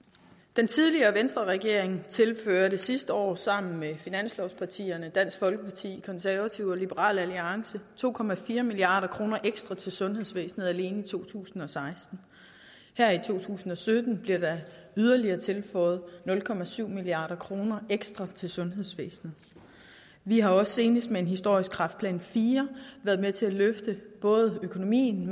den tidligere venstreregering tilførte sidste år sammen med finanslovspartierne dansk folkeparti konservative og liberal alliance to milliard kroner ekstra til sundhedsvæsenet alene i to tusind og seksten her i to tusind og sytten bliver der yderligere tilføjet nul milliard kroner ekstra til sundhedsvæsenet vi har også senest med en historisk kræftplan iv været med til at løfte både økonomien